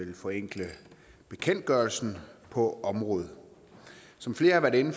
vil forenkle bekendtgørelsen på området som flere har været inde